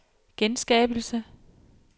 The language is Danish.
genskabelse